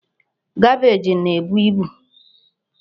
Kabeej naebu ibu.